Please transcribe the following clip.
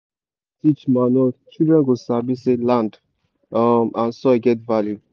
if school teach manure children go sabi say land um and soil get value.